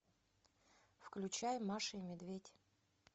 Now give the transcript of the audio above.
включай маша и медведь